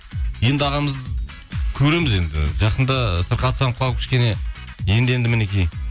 енді ағамыз көреміз енді жақында сырқаттанып қалып кішкене енді енді мінекей